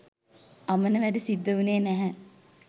අමන වැඩ සිද්ද උනේ නැහැ